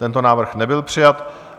Tento návrh nebyl přijat.